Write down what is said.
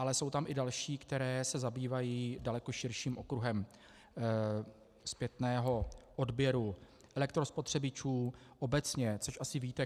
Ale jsou tam i další, které se zabývají daleko širším okruhem zpětného odběru elektrospotřebičů obecně, což asi víte.